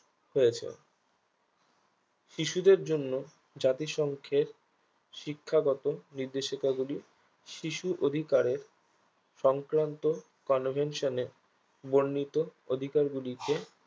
হয়েছে শিশুদের জন্য জাতিসংঘের শিক্ষাগত নির্দেশিকা গুলি শিশু অধিকারের সংক্রান্ত convention এ বর্ণিত অধিকার গুলিকে